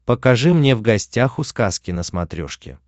покажи мне в гостях у сказки на смотрешке